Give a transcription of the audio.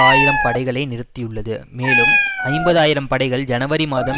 ஆயிரம் படைகளை நிறுத்தியுள்ளது மேலும் ஐம்பது ஆயிரம் படைகள் ஜனவரி மாதம்